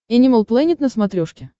энимал плэнет на смотрешке